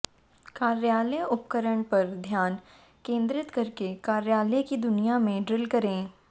कार्यालय उपकरण पर ध्यान केंद्रित करके कार्यालय की दुनिया में ड्रिल करें